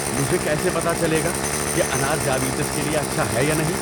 مجھے کیسے پتہ چلے گا کہ انار ذیابیطس کے لیے اچھا ہے یا نہیں؟